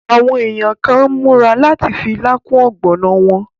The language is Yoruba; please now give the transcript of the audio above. Àwọn èèyàn kàn n múra láti fi ilá kún ọ̀gbọ̀nà wọn